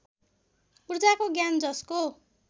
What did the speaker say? ऊर्जाको ज्ञान जसको